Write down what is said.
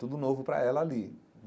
Tudo novo para ela ali.